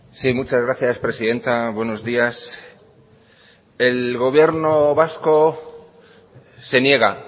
sí muchas gracias presidenta buenos días el gobierno vasco se niega